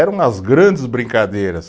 Era umas grandes brincadeiras.